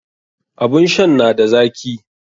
Abun shan na da zaki.